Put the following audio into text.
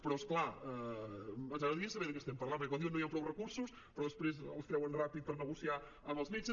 però és clar ens agradaria saber de què estem parlant perquè quan diuen que no hi han prou recursos però després els treuen ràpid per negociar amb els metges